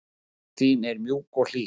Mund þín er mjúk og hlý.